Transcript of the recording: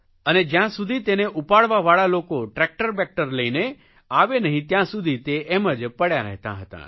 અને જયાં સુધી તેને ઉપાડવાવાળા લોકો ટ્રેકટર બેકટર લઇને આવે નહીં ત્યાં સુધી તે એમ જ પડ્યાં રહેતાં હતાં